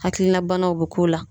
Hakilina banaw be k'o la